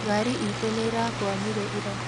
ngari itũ nĩĩrakwamire ira